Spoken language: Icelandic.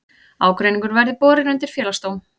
Ágreiningurinn verði borin undir félagsdóm